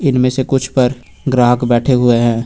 इनमें से कुछ पर ग्राहक बैठे हुए हैं।